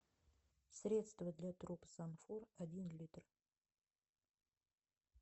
средство для труб санфор один литр